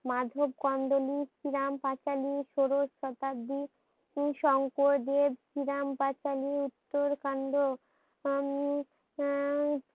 মাধব কান্দোলি শ্রীরাম পাঁচালি ষোড়শ শতাব্দী সংকর দেব শ্রীরাম পাঁচালি উত্তর কান্ড উম উম